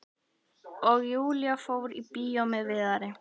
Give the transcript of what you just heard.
Og Júlía fór í bíó með Viðari.